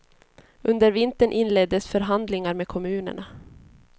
Under vintern inleddes förhandlingar med kommunerna.